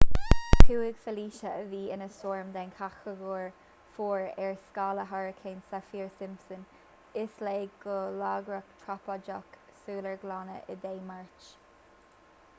chuaigh felicia a bhí ina stoirm den chatagóir 4 ar scála hairicín saffir-simpson i léig go lagrach trópaiceach sular glanadh í dé máirt